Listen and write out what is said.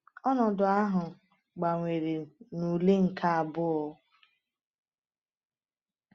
Ọnọdụ ahụ gbanwere na ule nke abụọ.